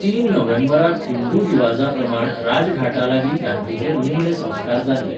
तीन नोव्हेंबराक हिंदू रिवाजाप्रमाण राजघाटालागीं गांधीचेर निमणे संस्कार जाल्ले.